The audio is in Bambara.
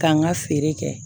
K'an ka feere kɛ